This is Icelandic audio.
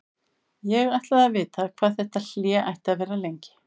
Ég ætlaði að vita hvað þetta hlé ætti að vera lengi.